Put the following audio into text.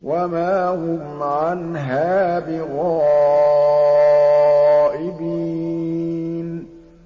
وَمَا هُمْ عَنْهَا بِغَائِبِينَ